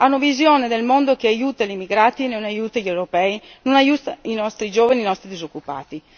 Hanno visione del mondo che aiuta gli immigrati e non aiuta gli europei, non aiuta i nostri giovani, i nostri disoccupati.